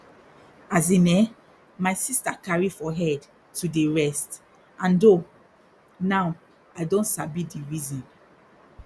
as in eh my sister carry for head to dey rest and ooohh now i don sabi di reason